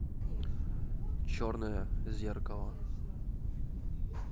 черное зеркало